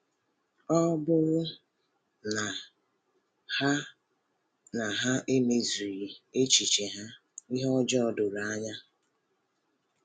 Ọ um bụrụ um na ha na ha emezughị um echiche ha, ihe ọjọọ doro anya.